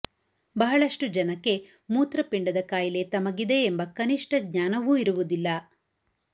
ಬಹಳಷ್ಟು ಜನಕ್ಕೆ ಮೂತ್ರಪಿಂಡದ ಕಾಯಿಲೆ ತಮಗಿದೆ ಎಂಬ ಕನಿಷ್ಠ ಜ್ಞಾನವೂ ಇರುವುದಿಲ್ಲ